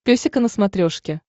песика на смотрешке